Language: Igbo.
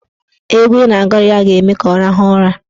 Egwu ị ga-agụrụ ya ga-eme ka ọ rahụọ ụra.